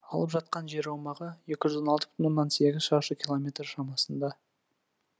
алып жатқан жер аумағы екі жүз он алты бүтін оннан сегіз шаршы километр шамасында